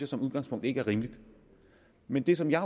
som udgangspunkt ikke er rimeligt men det som jeg